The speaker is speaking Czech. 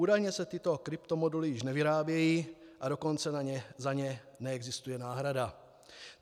Údajně se tyto kryptomoduly již nevyrábějí a dokonce za ně neexistuje náhrada.